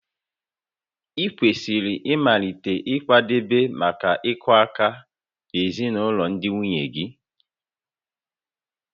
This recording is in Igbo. Ị kwesịrị ịmalite ịkwadebe maka ịkụ aka na ezinụlọ ndị nwunye gị